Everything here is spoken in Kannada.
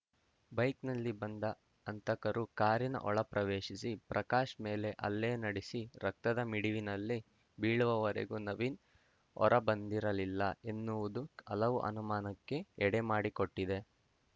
ಬೈಕ್‌ನಲ್ಲಿ ಬಂದ ಹಂತಕರು ಕಾರಿನ ಒಳ ಪ್ರವೇಶಿಸಿ ಪ್ರಕಾಶ್‌ ಮೇಲೆ ಹಲ್ಲೆ ನಡೆಸಿ ರಕ್ತದ ಮಿಡುವಿನಲ್ಲಿ ಬೀಳುವವರೆಗೂ ನವೀನ್‌ ಹೊರಬಂದಿರಲಿಲ್ಲ ಎನ್ನುವುದು ಹಲವು ಅನುಮಾನಕ್ಕೆ ಎಡೆಮಾಡಿಕೊಟ್ಟಿದೆ